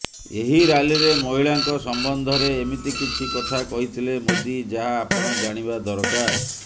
ଏହି ରାଲୀରେ ମହିଳାଙ୍କ ସମ୍ବନ୍ଧରେ ଏମିତି କିଛି କଥା କହିଥିଲେ ମୋଦି ଯାହା ଆପଣ ଜାଣିବା ଦରକାର